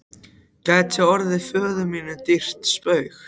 gæti orðið föður mínum dýrt spaug.